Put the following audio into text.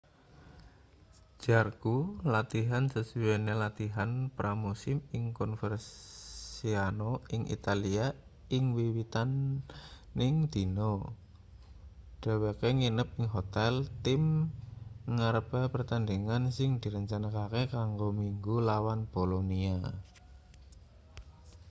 jarque latihan sasuwene latihan pra-musim ing coverciano ing italia ing wiwitaning dina dheweke nginep ing hotel tim ngarepe pertandhingan sing direncanakake kanggo minggu lawan bolonia